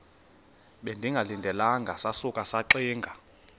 bengalindelanga sasuka saxinga